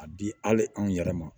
A di hali anw yɛrɛ ma